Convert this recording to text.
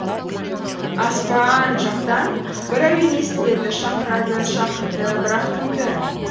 аспа а а н жақтан бір әуен естіледі шақырады шақырды бірақ кімді